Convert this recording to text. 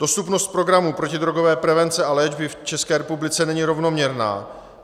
Dostupnost programů protidrogové prevence a léčby v České republice není rovnoměrná.